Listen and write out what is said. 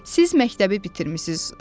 Siz məktəbi bitirmisiniz.